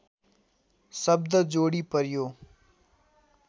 शब्द जोडी पर्‍यो